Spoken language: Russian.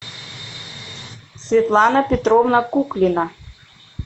светлана петровна куклина